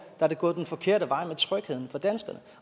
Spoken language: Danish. er det gået den forkerte vej med trygheden for danskerne